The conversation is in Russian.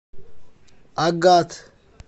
агат